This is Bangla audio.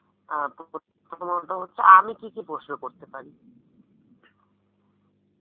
অ্যাঁ প্রথমত হচ্ছে আমি কি কি প্রশ্ন করতে পারি